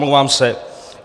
Omlouvám se.